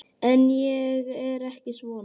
En ég er ekki svona.